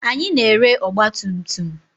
Anyị na-ere ọgba tum tum.